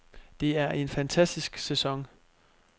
Det er en fantastisk sæson.